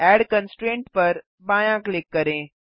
add constraint पर बायाँ click करें